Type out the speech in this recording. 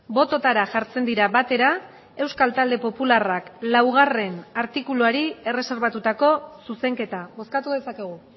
bototara jartzen dira batera euskal talde popularrak laugarrena artikuluari erreserbatutako zuzenketa bozkatu dezakegu